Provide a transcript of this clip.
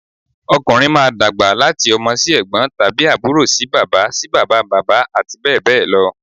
Ọkùnrin máa dàgbà láti ọmọ sí ẹ̀gbọ́n tàbí àbúrò sí bàbá sí bàbá bàbá àti bẹ́ẹ̀ bẹ́ẹ̀ lọ